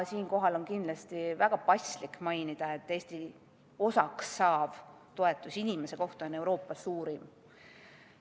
Siinkohal on kindlasti väga paslik mainida, et Eesti osaks saav toetus inimese kohta on Euroopa suurim.